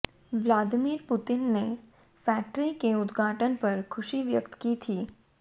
Vladimir Putin ने factory के उद्घाटन पर खुशी व्यक्त की थी